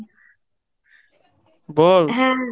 বল